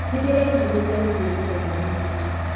Nĩndĩrerirĩria gũthiĩ gũcera Misiri.